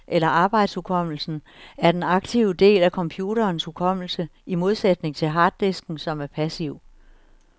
Ramen, også kaldet den interne hukommelse eller arbejdshukommelsen, er den aktive del af computerens hukommelse, i modsætning til harddisken, som er passiv.